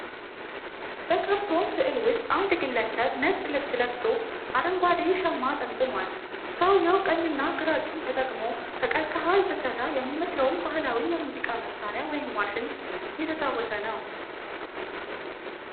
በካርቶን ስዕል ውስጥ አንድ ግለሰብ ነጭ ልብስ ለብሶ አረንጓዴ ሻማ ጠምጥሟል። ሰውየው ቀኝና ግራ እጁን ተጠቅሞ፣ ከቀርከሃ የተሰራ የሚመስለውን ባህላዊ የሙዚቃ መሳሪያ (ዋሽንት) እየተጫወተ ነው።